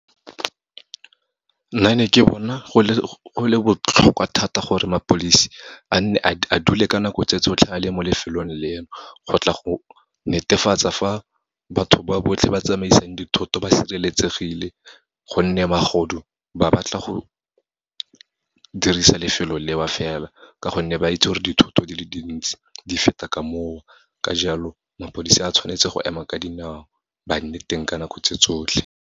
Nna ne ke bona go le botlhokwa thata gore mapodisi a nne a dule ka nako tse tsotlhe a le mo lefelong leno, go tla go netefatsa fa batho ba botlhe ba tsamaisang dithoto ba sireletsegile, gonne magodu ba batla go dirisa lefelo leo fela, ka gonne ba itse gore dithoto di le dintsi di feta ka moo. Ka jalo, mapodisi a tshwanetse go ema ka dinao, ba nne teng ka nako tse tsotlhe.